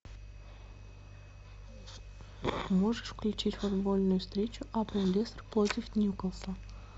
можешь включить футбольную встречу апл лестер против ньюкасла